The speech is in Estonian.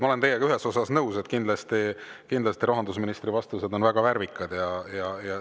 Ma olen teiega ühes osas nõus, kindlasti rahandusministri vastused on väga värvikad.